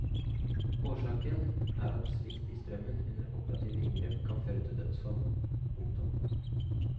Årsaken er at svikt i strømmen under operative inngrep kan føre til dødsfall. punktum